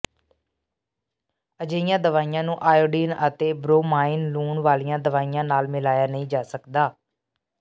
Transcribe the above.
ਅਜਿਹੀਆਂ ਦਵਾਈਆਂ ਨੂੰ ਆਇਓਡੀਨ ਅਤੇ ਬਰੋਮਾਈਨ ਲੂਣ ਵਾਲੀਆਂ ਦਵਾਈਆਂ ਨਾਲ ਮਿਲਾਇਆ ਨਹੀਂ ਜਾ ਸਕਦਾ